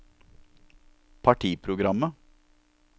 partiprogrammet